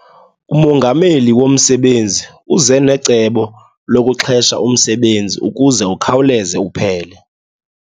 Umongameli womsebenzi uze necebo lokuxhesha umsebenzi ukuze ukhawuleze uphele.